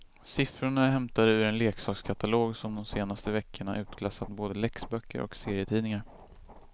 Siffrorna är hämtade ur en leksakskatalog som de senaste veckorna utklassat både läxböcker och serietidningar.